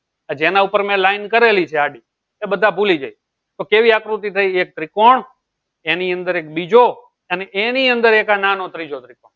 જેના ઉપર મેં line કરેલી છે આડી એ બધા ભૂલી જાય તો કેવી આકૃતિ થઈ એક ત્રિકોણ એની અંદર એક બીજો અને એની અંદર એક આ નાનો ત્રીજો ત્રિકોણ